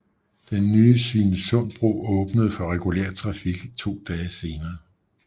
Den nye Svinesundsbro åbnede for regulær trafik to dage senere